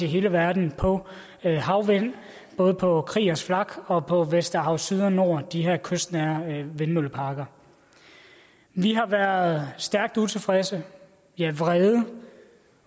hele verden på havvind både på kriegers flak og på vesterhav syd og vesterhav nord de her kystnære vindmølleparker vi har været stærkt utilfredse ja vrede